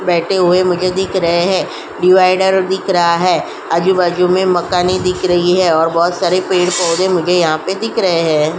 बैठे हुए मुझे दिख रहे हैं। डिवाइडर दिख रहा है। आजू बाजू में मकानें दिख रही है और बहोत सारे पेड़ पौधे मुझे यहाँ पर दिख रहे हैं।